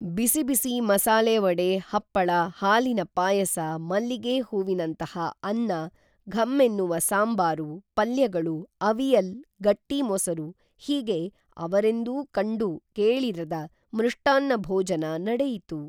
ಬಿಸಿಬಿಸಿ ಮಸಾಲೆವಡೆ ಹಪ್ಪಳ ಹಾಲಿನ ಪಾಯಸ ಮಲ್ಲಿಗೇ ಹೂವಿನಂತಹ ಅನ್ನ ಘಮ್ಮೆನ್ನುವ ಸಾಂಬಾರು ಪಲ್ಯಗಳು ಅವಿಯಲ್ ಗಟ್ಟಿಮೊಸರು ಹೀಗೆ ಅವರೆಂದೂ ಕಂಡು ಕೇಳಿರದ ಮೃಷ್ಟಾನ್ನ ಭೋಜನ ನಡೆಯಿತು